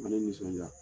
Ne nisɔnjaa